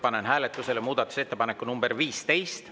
Panen hääletusele muudatusettepaneku nr 15.